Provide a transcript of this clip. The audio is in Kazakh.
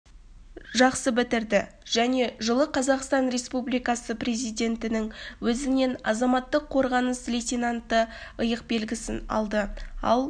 жақсы бітірді және жылы қазақстан республикасы президентінің өзінен азаматтық қорғаныс лейтенанты иық белгісін алды ал